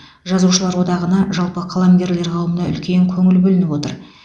жазушылар одағына жалпы қаламгерлер қауымына үлкен көңіл бөлініп отыр